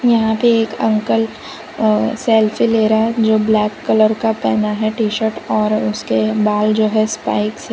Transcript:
यहां पे एक अंकल अ सेल्फी ले रहा है जो ब्लैक कलर का पहना है टी शर्ट और उसके बाल जो है स्पाइक्स --